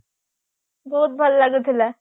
ବହୁତ ଭଲ ଲାଗୁଥିଲା